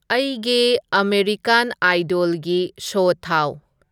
ꯑꯩꯒꯤ ꯑꯃꯦꯔꯤꯀꯥꯟ ꯑꯥꯏꯗꯣꯜꯒꯤ ꯁꯣ ꯊꯥꯎ